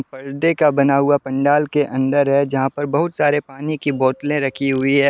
पर्दे का बना हुआ पंडाल के अंदर है जहां पर बहुत सारी पानी की बोतले रखी हुई है।